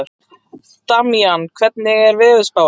Damjan, hvernig er veðurspáin?